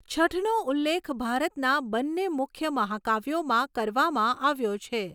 છઠનો ઉલ્લેખ ભારતના બંને મુખ્ય મહાકાવ્યોમાં કરવામાં આવ્યો છે.